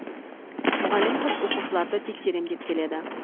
мұғалім қыз оқушыларды тексерем деп келеді